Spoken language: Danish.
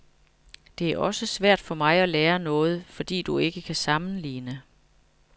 Det er også svært for mig at lære noget, fordi du ikke kan sammenligne.